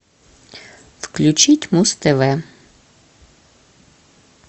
включить муз тв